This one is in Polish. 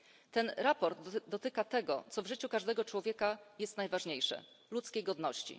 To sprawozdanie dotyczy tego, co w życiu każdego człowieka jest najważniejsze ludzkiej godności.